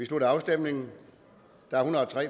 slutter afstemningen